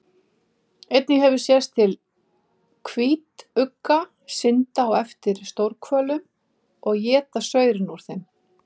Einnig hefur sést til hvítugga synda á eftir stórhvölum og éta saurinn úr þeim.